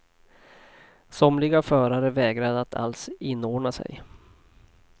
Somliga förare vägrade att alls inordna sig.